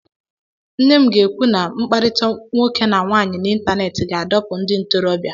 Nne m ga-ekwu na mkpakọrịta nwoke na nwaanyị n'ịntanetị ga-adọpụ ndị ntorobịa.